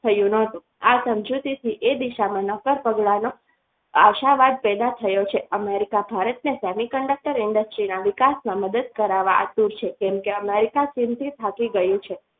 થયું ન હતું આ સમજૂતીથી એ દિશામાં નક્કર પગલાનો આશાવાદ પેદા થયો છે America ભારત અને semiconductor industries ના વિકાસના મદદ થી કરાવવા આતુર છે કેમકે America ચિંતિત થાકી ગયું છે.